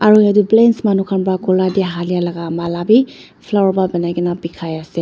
Aro itu plains manu khan pera ghola teh hailia la mala bi flower pra banaigena bigai ase.